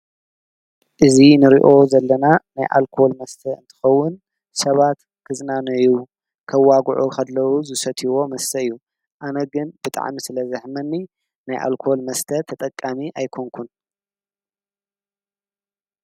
እዚ እንሪኦ ዘለና ናይ ኣልኮል መስተ እንትከውን ሰባት ክዝናነዩ ከዋግዑ ከለው ዝሰትይዎ መስተ እዩ፡፡ ኣነ ግን ብጣዕሚ ስለዘሕመኒ ናይ ኣልኮል መስተ ተጠቃሚ ኣይኮንኩን፡፡